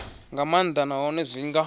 nga maanḓa nahone zwi nga